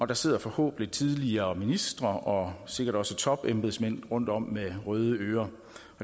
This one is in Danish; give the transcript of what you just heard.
der sidder forhåbentlig tidligere ministre og sikkert også topembedsmænd rundtom med røde ører